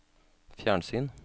fjernsyn